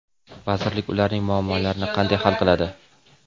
Vazirlik ularning muammolarini qanday hal qiladi?.